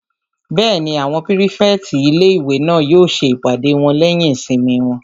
Bẹ́ẹ̀ni, àwọn pírífẹ̀tì ilé-ìwé náà yóò ṣe ìpàdé wọn lẹ́yìn ìsinmi wọn